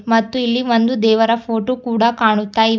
ಮತ್ತೆ ಇಲ್ಲಿ ಒಂದು ದೇವರ ಫೋಟೋ ಕೂಡ ಕಾಣುತ್ತಾ ಇದೆ.